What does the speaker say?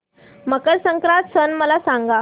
मकर संक्रांत सण मला सांगा